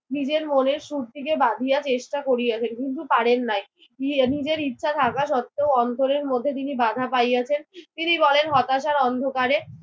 নিজের মনের সুরটিকে বাধিয়া চেষ্টা করিয়াছেন কিন্তু পারেন নাই। নিয়ে নিজের ইচ্ছা থাকা সত্ত্বেও অন্তরের মধ্যে তিনি বাঁধা পাইয়াছেন। তিনি বলেন হতাশার অন্ধকারে